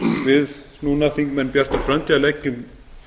við núna þingmenn bjartrar framtíðar leggjum